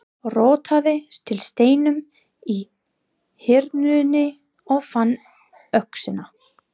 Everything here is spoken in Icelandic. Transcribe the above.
Rótaði til steinum í Hyrnunni og fann öxina.